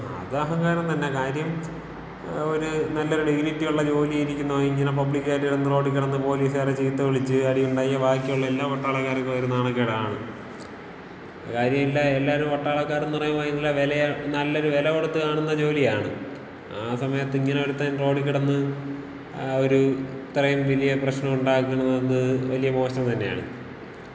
അത് അഹങ്കാരം തന്ന. കാര്യം ഒരു നല്ലൊരു ഡിഗിനിറ്റി ഉള്ള ജോലില് ഇരിക്കുന്നവൻ ഇങ്ങനെ പബ്ലിക്കായിട്ട് കിടന്ന് റോഡികിടന്ന് പൊലീസ്കാരെ ചീത്തവിളിച്ച് അടിയുണ്ടാക്കിയാ ബാക്കിയുള്ള എല്ലാ പട്ടാളക്കാർക്കും അതൊരു നാണക്കേടാണ്. കാര്യല്യ, എല്ലാരും പട്ടാളക്കാരന്ന് പറയുമ്പോ നല്ല വെലയും നല്ലൊരു വെല കൊട്ത്ത് കാണുന്ന ജോലിയാണ്. ആ സമയത്ത് ഇങ്ങനെ ഒരുത്തൻ റോഡികിടന്ന് ഒരു ഇത്രയും വലിയ പ്രശ്നം ഉണ്ടാക്കുന്നത് വല്യ മോശം തന്നെയാണ്.